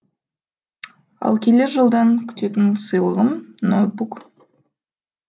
ал келер жылдан күтетін сыйлығым ноутбук